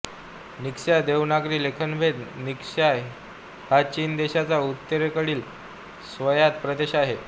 Ningxia Devanagari लेखनभेद Ningxia हा चीन देशाच्या उत्तरेकडील स्वायत्त प्रदेश आहे